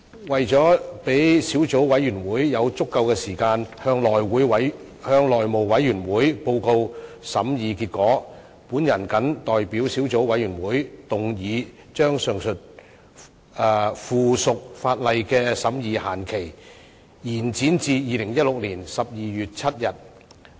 為了讓小組委員會有足夠的時間向內務委員會報告審議結果，我謹代表小組委員會動議，將上述附屬法例的審議限期延展至2016年12月7日。